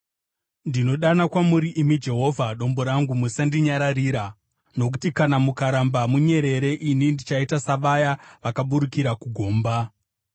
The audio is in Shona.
Ndinodana kwamuri, imi Jehovha Dombo rangu; musandinyararira. Nokuti kana mukaramba munyerere, ini ndichaita savaya vakaburukira kugomba.